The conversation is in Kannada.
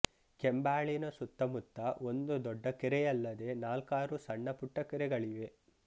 ಕೆಂಬಾಳಿನ ಸುತ್ತ ಮುತ್ತ ಒಂದು ದೊಡ್ಡ ಕೆರೆಯಲ್ಲದೆ ನಾಲ್ಕಾರು ಸಣ್ಣ ಪುಟ್ಟ ಕಟ್ಟೆಗಳಿವೆ